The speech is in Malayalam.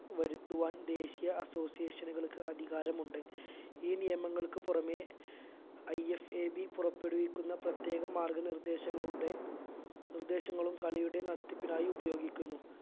വരുത്തുവാൻ ദേശിയ association കൾക്ക് അധികാരമുണ്ട് ഈ നിയമങ്ങൾക്ക് പുറമെ IFAB പുറപ്പെടുവിക്കുന്ന പ്രത്യേക മാർഗ നിർദ്ദേശങ്ങളുടെ നിർദ്ദേശങ്ങളും കളിയുടെ നടത്തിപ്പിനായി ഉപയോഗിക്കുന്നു